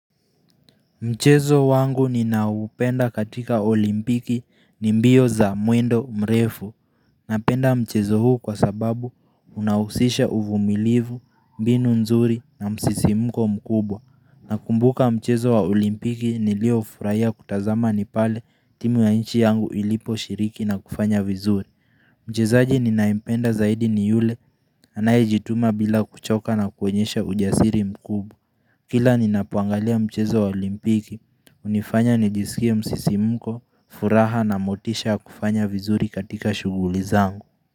Mchezo wangu ninaoupenda katika olimpiki ni mbio za mwendo mrefu. Napenda mchezo huu kwa sababu unahusisha uvumilivu, mbinu nzuri na msisimuko mkubwa. Nakumbuka mchezo wa olimpiki niliofurahia kutazama ni pale timu ya nchi yangu iliposhiriki na kufanya vizuri. Mchezaaji ninayempenda zaidi ni yule anayejituma bila kuchoka na kuonyesha ujasiri mkubwa. Kila ninapoangalia mchezo wa olimpiki. Hunifanya nijisikie msisimko furaha na motisha kufanya vizuri katika shughuli zangu.